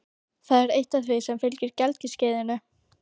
Það er eitt af því sem fylgir gelgjuskeiðinu.